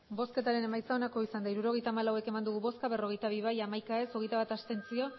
hirurogeita hamalau eman dugu bozka berrogeita bi bai hamaika ez hogeita bat abstentzio